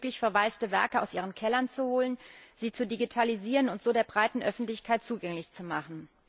endlich möglich, verwaiste Werke aus ihren Kellern zu holen, sie zu digitalisieren und so der breiten Öffentlichkeit zugänglich zu machen.